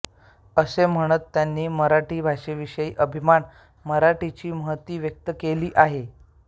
असे म्हणत त्यांनी मराठी भाषेविषयीचा अभिमान मराठीची महती व्यक्त केली आहे